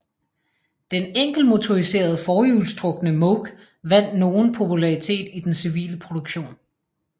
Den enkeltmotoriserede forhjulstrukne Moke vandt nogen popularitet i den civile produktion